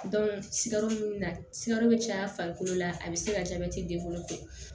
sikaro mun na sikaro be caya farikolo la a be se ka jabɛti den bolo kɛ